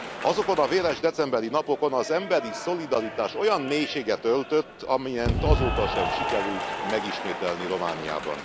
Azokon a véres decemberi napokon az emberi szolidaritás olyan mélységet öltött, amelyet azóta sem sikerült megismételni Romániában.